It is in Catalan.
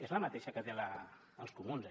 és la mateixa que tenen els comuns